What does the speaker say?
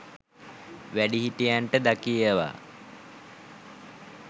වැඩිහිටියන්ට ද කියවා